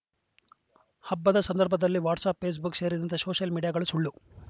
ಹಬ್ಬದ ಸಂದರ್ಭದಲ್ಲಿ WhatsApp Facebook ಸೇರಿದಂತೆ ಸೋಷಿಯಲ್‌ ಮೀಡಿಯಾಗಳು ಸುಳ್ಳು